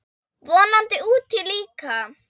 Vonandi úti líka.